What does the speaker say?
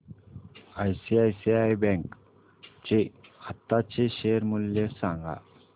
ICICI bank चे आताचे share मूल्य सांगा